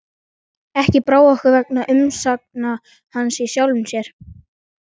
Ekki brá okkur vegna umsagna hans í sjálfu sér.